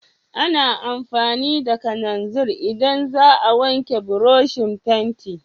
A na amfani da kananzir in za a wanke buroshin fenti